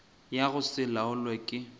ya go se laolwe ke